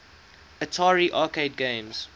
atari arcade games